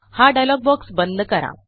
हा dialogue box बंद करा